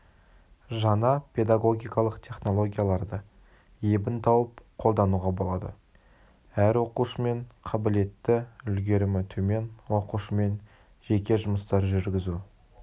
жаңа педагогикалық технологияларды ебін тауып қолдануға болады әр оқушымен қабілетті үлгерімі төмен оқушымен жеке жұмыстар жүргізу